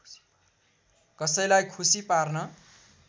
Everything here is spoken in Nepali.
कसैलाई खुसी पार्न